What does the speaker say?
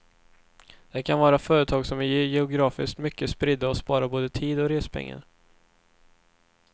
Det kan vara företag som är geografiskt mycket spridda som sparar både tid och respengar.